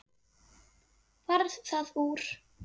Varð það úr.